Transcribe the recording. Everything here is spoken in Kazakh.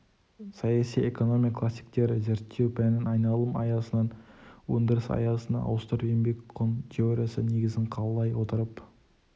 саяси экономия классиктері зерттеу пәнін айналым аясынан өндіріс аясына ауыстырып еңбек құн теориясы негізін қалай отырып